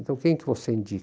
Então quem que você